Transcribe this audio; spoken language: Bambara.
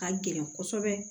Ka gɛlɛn kɔsɛbɛ